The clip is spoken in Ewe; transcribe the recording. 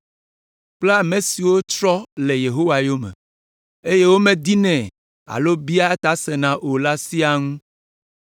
kple ame siwo trɔ le Yehowa yome, eye womedinɛ alo biaa eta sena o la siaa ŋu.”